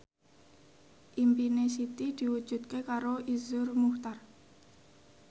impine Siti diwujudke karo Iszur Muchtar